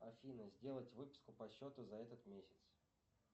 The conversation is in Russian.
афина сделать выписку по счету за этот месяц